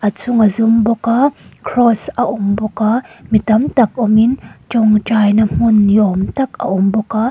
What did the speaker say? chhung a zum bawk a cross a awm bawk a mi tam tak awmin tawngtai nâ hmun ni awm tak a awm bawk a.